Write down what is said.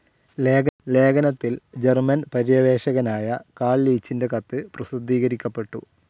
ലേഖനത്തിൽ ജർമൻ പര്യവേഷകനായ കാൾ ലീച്ചിൻ്റെ കത്ത് പ്രസിദ്ധീകരിക്കപ്പെട്ടു.